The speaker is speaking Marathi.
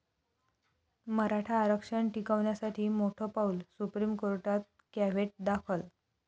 मराठा आरक्षण टिकवण्यासाठी मोठं पाऊल, सुप्रीम कोर्टात कॅव्हेट दाखल